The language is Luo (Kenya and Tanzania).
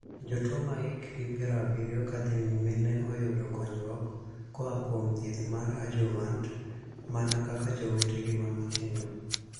Jotuo ma hikgi piero abiriyo ka dhii nyime ne oyudo konyruok koa kuom thieth mar 'adjuvant' mana kaka jowetegi ma matindo.